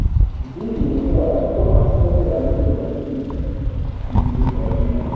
জী জী আমি তো ভাব ছিলাম যে আগে শুধু laptop ই গুটাবো এখন দেখি পড়া সোনা ও